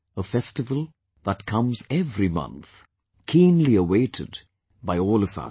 A festival that comes every month, keenly awaited by all of us